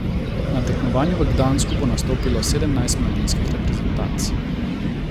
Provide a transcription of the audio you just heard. Na tekmovanju v Gdansku bo nastopilo sedemnajst mladinskih reprezentanc.